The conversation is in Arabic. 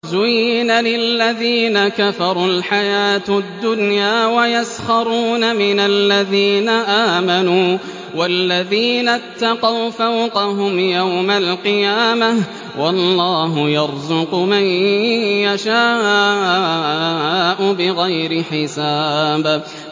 زُيِّنَ لِلَّذِينَ كَفَرُوا الْحَيَاةُ الدُّنْيَا وَيَسْخَرُونَ مِنَ الَّذِينَ آمَنُوا ۘ وَالَّذِينَ اتَّقَوْا فَوْقَهُمْ يَوْمَ الْقِيَامَةِ ۗ وَاللَّهُ يَرْزُقُ مَن يَشَاءُ بِغَيْرِ حِسَابٍ